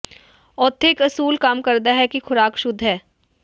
ਉੱਥੇ ਇਕ ਅਸੂਲ ਕੰਮ ਕਰਦਾ ਹੈ ਕਿ ਖੁਰਾਕ ਸ਼ੁੱਧ ਹੈ